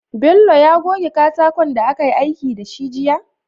Bello ne ya goge katakon da akayi aiki da shi jiya?